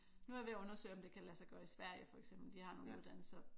Nu er jeg ved at undersøge om det kan lade sig gøre i Sverige for eksempel de har nogle uddannelser